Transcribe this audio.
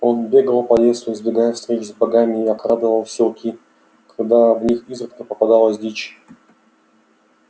он бегал по лесу избегая встреч с богами и обкрадывал силки когда в них изредка попадалась дичь